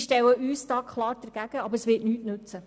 Wir stellen uns klar dagegen, doch es wird nichts nützen.